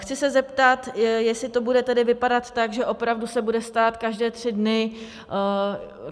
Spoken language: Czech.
Chci se zeptat, jestli to bude tedy vypadat tak, že opravdu se bude stát každé tři dny...